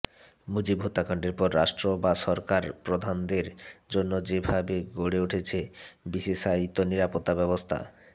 মুজিব হত্যাকান্ডের পর রাষ্ট্র বা সরকার প্রধানদের জন্য যেভাবে গড়ে উঠেছে বিশেষায়িত নিরাপত্তা ব্যবস্থা